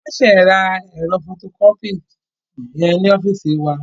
Wọ́n ṣe ra ẹ̀rọ fọtokọ́pì yẹn ní ọ́fíìsì wa.